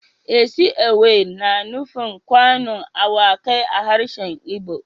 Isi ewu yana nufin kanu awakai a harshen igbo